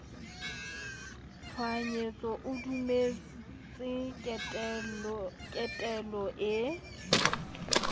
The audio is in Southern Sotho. tshohanyetso o dumeletswe ketelo e